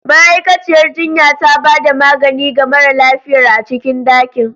Ma'aikaciyar jinya ta ba da magani ga mara lafiyar a cikin dakin.